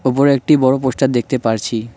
ওপরে একটি বড়ো পোস্টার দেখতে পারছি।